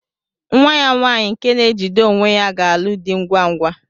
Nwa ya nwaanyị nke na-ejide onwe ya ga-alụ di ngwa ngwa.